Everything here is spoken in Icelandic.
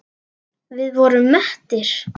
Við vorum mettir.